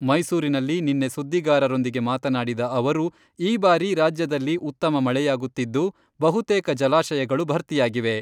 ಮೈಸೂರಿನಲ್ಲಿ ನಿನ್ನೆ ಸುದ್ದಿಗಾರರೊಂದಿಗೆ ಮಾತನಾಡಿದ ಅವರು, ಈ ಬಾರಿ ರಾಜ್ಯದಲ್ಲಿ ಉತ್ತಮ ಮಳೆಯಾಗುತ್ತಿದ್ದು, ಬಹುತೇಕ ಜಲಾಶಯಗಳು ಭರ್ತಿಯಾಗಿವೆ.